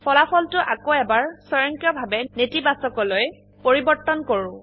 ফলাফলটো আকৌ এবাৰ স্বয়ংক্ৰিয়ভাবে নেতিবাচক নেগেটিভ লৈ পৰিবৰ্তন কৰো